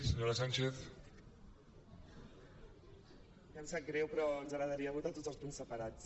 ja em sap greu però ens agradaria votar tots els punts separats